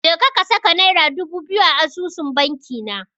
Jeka ka saka Naira dubu biyu a asusun bankina.